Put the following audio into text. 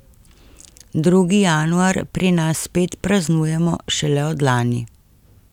Drugi januar pri nas spet praznujemo šele od lani.